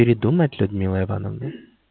придумать людмила ивановна